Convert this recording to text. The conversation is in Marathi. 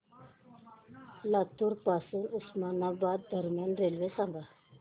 लातूर पासून उस्मानाबाद दरम्यान रेल्वे सांगा